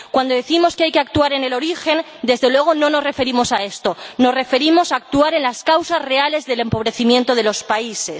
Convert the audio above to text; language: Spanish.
Cuando decimos que hay que actuar en el origen, desde luego no nos referimos a esto. Nos referimos a actuar en las causas reales del empobrecimiento de los países.